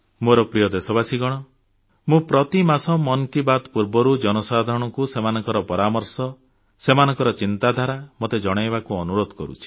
ମୋର ପ୍ରିୟ ଦେଶବାସୀଗଣ ମୁଁ ପ୍ରତି ମାସ ମନ୍ କି ବାତ୍ ପୂର୍ବରୁ ଜନସାଧାରଣଙ୍କୁ ସେମାନଙ୍କ ପରାମର୍ଶ ସେମାନଙ୍କ ଚିନ୍ତାଧାରା ମୋତେ ଜଣାଇବାକୁ ଅନୁରୋଧ କରୁଛି